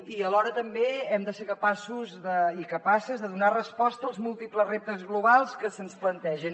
i alhora també hem de ser capaços i capaces de donar resposta als múltiples reptes globals que se’ns plantegen